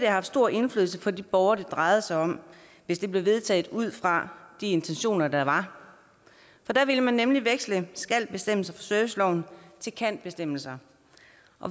haft stor indflydelse for de borgere det drejede sig om hvis det blev vedtaget ud fra de intentioner der var for der ville man nemlig veksle skal bestemmelser fra serviceloven til kan bestemmelser